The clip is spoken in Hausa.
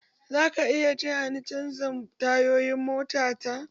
Zaka iya taya ni canja tayoyin mota ta?